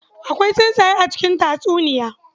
Akwai tsuntsaye a cikin tatsuniya.